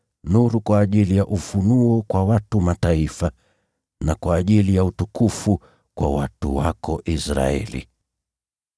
nuru kwa ajili ya ufunuo kwa watu wa Mataifa na kwa ajili ya utukufu kwa watu wako Israeli.”